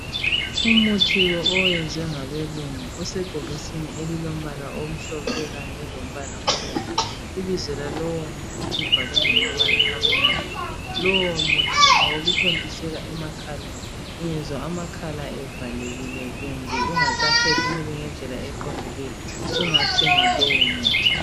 Umuthi lo oyenziwe ngabelungu, usebhokisini elilombala omhlophe kanye lombala omnyama. Ibizo lalowomuthi libhalwe ngamabala amnyama. Lowo muthi ngowokuthontisela emakhaleni. Ungezwa amakhala evalekile kumbe ungasaphefumuli ngendlela eqondileyo sungathenga lowo muthi.